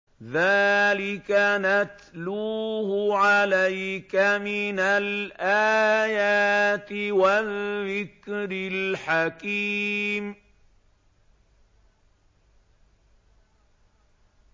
ذَٰلِكَ نَتْلُوهُ عَلَيْكَ مِنَ الْآيَاتِ وَالذِّكْرِ الْحَكِيمِ